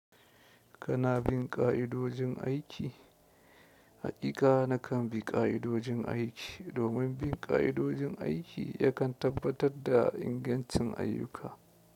Kana bin ƙa'idojin aiki? Haƙiƙa na kan bi ƙa'idojin aiki. Domin bin ka'idojin aiki yakan tabbatar da ƴancin aiki.